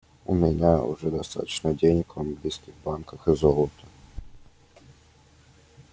у меня уже достаточно денег в английских банках и золота